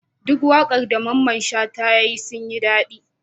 Duk waƙar da mamman shata yayi sun yin dadi